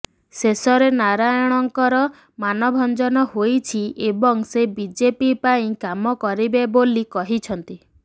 ଶେଷରେ ନାରାୟଣଙ୍କର ମାନଭଞ୍ଜନ ହୋଇଛି ଏବଂ ସେ ବିଜେପି ପାଇଁ କାମ କରିବେ ବୋଲି କହିଛନ୍ତି